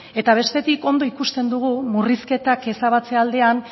eta bestetik ondo ikusten dugu murrizketak ezabatzea aldean